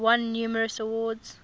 won numerous awards